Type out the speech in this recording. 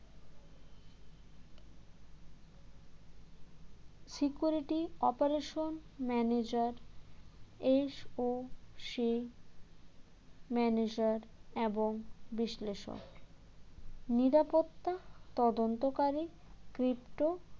security operation manager SOC manager বিশ্লেষক নিরাপত্তা তদন্তকারী cripto